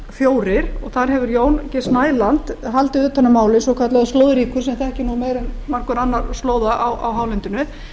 fjórum fjögurra þar hefur jón g snæland haldið utan um málið svokallaður slóðríkur sem þekkir nú meira en margur annar slóða á hálendinu